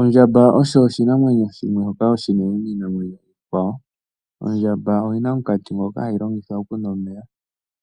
Ondjamba osho oshinamwenyo shoka oshinene kiinamwenyo iikwawo. Ondjamba oyi na omunkati ngoka hayi longitha okunwa omeya.